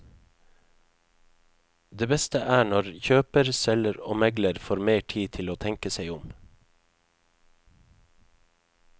Det beste er når kjøper, selger og megler får mer tid til å tenke seg om.